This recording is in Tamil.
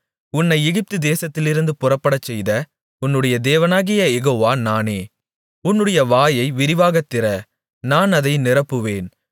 உன்னை எகிப்து தேசத்திலிருந்து புறப்படச்செய்த உன்னுடைய தேவனாகிய யெகோவா நானே உன்னுடைய வாயை விரிவாகத் திற நான் அதை நிரப்புவேன்